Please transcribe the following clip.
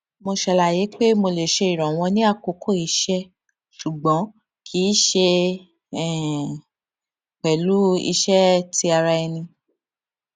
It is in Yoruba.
mo ṣàlàyé pé mo lè ṣe ìrànlọwọ ní àkókò iṣẹ ṣùgbọn kì í ṣe um pẹlú iṣé ti ara ẹni